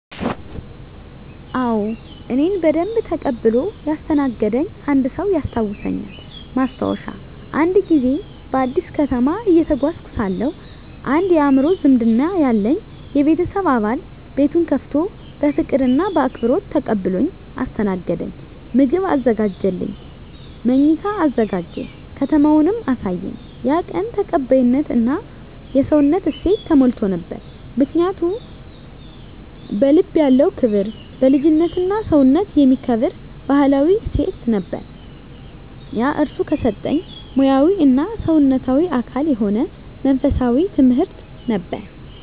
አዎ፣ እኔን በደንብ ተቀብሎ ያስተናገደኝ አንድ ሰው ያስታውሳልኝ። ማስታወሻ፦ አንድ ጊዜ በአዲስ ከተማ እየተጓዝኩ ሳለሁ አንድ የአእምሮ ዝምድና ያለኝ የቤተሰብ አባል ቤቱን ከፍቶ በፍቅር እና በአክብሮት ተቀብሎኝ አስተናገደኝ። ምግብ አዘጋጀልኝ፣ መኝታ አዘጋጀ፣ ከተማውንም አሳየኝ። ያ ቀን ተቀባይነት እና የሰውነት እሴት ተሞልቶ ነበር። ምክንያቱ? በልቡ ያለው ክብር፣ ልጅነትና ሰውነትን የሚከብር ባህላዊ እሴት ነበር። ያ እርሱ ከሰጠኝ ሙያዊ እና ሰውነታዊ አካል የሆነ መንፈሳዊ ትምህርት ነበር።